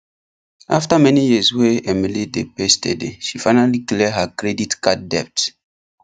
after many years wey emily dey pay steady she finally clear her credit card debt